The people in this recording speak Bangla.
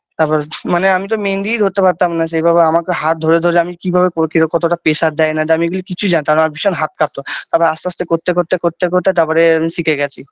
তারপর মানে আমি তো মেহেন্দিই ধরতে পারতাম না সেভাবে আমাকে হাত ধরে ধরে আমি কি ভাবে কতটা pressure দেয় না দেয় আমি কিচ্ছুই জানতাম না বিশাল হাত কাঁপতো তারপরে আস্তে আস্তে করতে করতে করতে করতে তারপরে আমি শিখে গেছি।